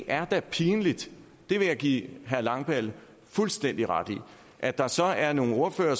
er da pinligt det vil jeg give herre christian langballe fuldstændig ret i at der så er nogle ordførere